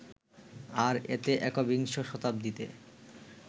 আর এতে একবিংশ শতাব্দীতে